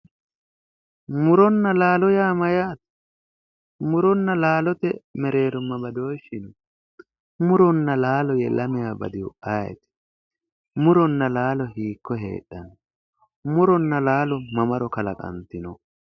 muronna laalo yaa mayyaate? muronna laalote mereero ma badooshshi no? muronna laalo ye lamewa badihu ayeti? muronna laalo hiikko heedhanno? muronna laalo mamaro kalaqantino?